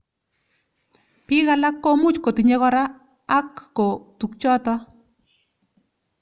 Bik alak komuch kotinye kora ako tukjotok.